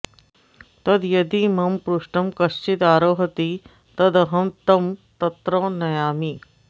तद्यदि मम पृष्ठं कश्चिदारोहति तदहं तं तत्र नयामि